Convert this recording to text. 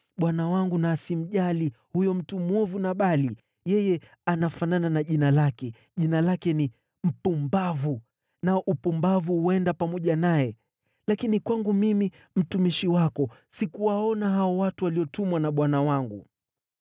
Bwana wangu na asimjali huyo mtu mwovu Nabali. Yeye anafanana na jina lake; jina lake ni Mpumbavu, nao upumbavu huenda pamoja naye. Lakini kwangu mimi, mtumishi wako, sikuwaona hao watu waliotumwa na bwana wangu.